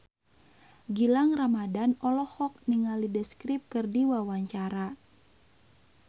Gilang Ramadan olohok ningali The Script keur diwawancara